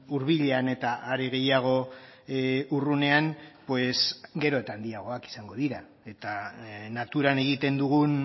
hurbilean eta are gehiago urrunean gero eta handiagoak izango dira eta naturan egiten dugun